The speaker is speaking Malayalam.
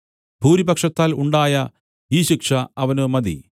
ഭൂരിപക്ഷത്താൽ ഉണ്ടായ ഈ ശിക്ഷ അവന് മതി